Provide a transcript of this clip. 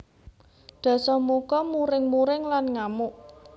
Dasamuka muring muring lan ngamuk